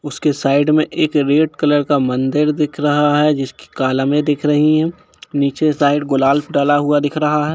उसके साइड में एक रेड कलर का मंदिर दिख रहा है जिसके कालमे दिख रही है नीचे साइक को गुलाल डाला हुआ दिख रहा है।